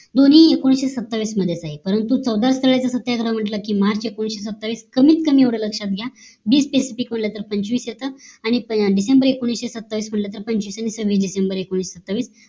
दोनी एकोणीशे सत्तावीस मध्येच आहे परंतु चौदा स्थळ याच सत्याग्रह म्हंटल कि MARCH एकोणीशे सत्तावीस कमीत कमीएवढं लक्ष्यात घ्या वीस SPECIFIC म्हंटल कि पंचवीस येत आणि DECEMBER एकोणीशे सत्तावीस म्हंटल तर पंचवीस आणि सव्वीस DECEMBER एकोणीशे सत्तावीस